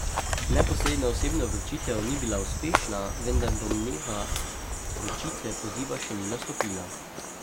Neposredna osebna vročitev ni bila uspešna, vendar domneva vročitve poziva še ni nastopila.